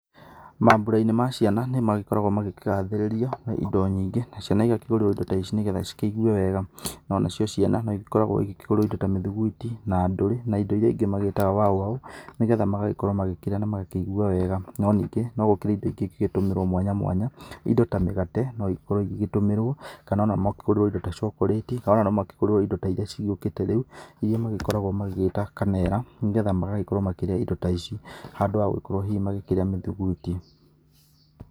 Mambura-inĩ ma ciana nĩmagĩkoragwo magĩkĩgathĩrĩrio na indo nyĩngĩ, na ciana igakĩgũrĩrwo indo ta ici nĩ getha cikĩigue wega. Ona cio ciana nĩikoragwo ikĩgũrĩrwo indo ta mĩthugwiti na ndũrĩ na indo iria ingĩ magĩtaga waũ waũ nĩgetha magagĩkorwo magagĩkĩrĩa na magakĩugua wega. No ningĩ, nĩ gũkĩrĩ indo ingĩ ingĩgĩtũmĩrwo mwanya mwanya, indo ta mĩgate no ikorwo igĩgĩtũmĩrwo, kana ona makĩgũrĩrwo indo ta cokorĩti, kana ona no makĩgũrĩrwo indo ta iria cigĩũkĩte rĩu iria makoragwo magĩgĩta kanera, nĩgetha magagĩkorwo makĩrĩa indo ta icio handũ ha gũgĩkorũo hihi magĩkĩrĩa mĩthuguiti.